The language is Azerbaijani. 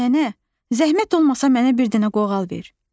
Nənə, zəhmət olmasa mənə bir dənə qoğal ver.